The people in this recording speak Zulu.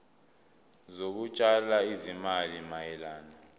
zokutshala izimali mayelana